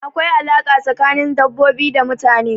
Akwai alaƙa tsakanin dabbobi da mutane.